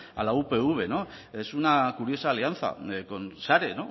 a la upv es una curiosa alianza con sare con la red